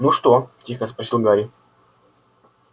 ну что тихо спросил гарри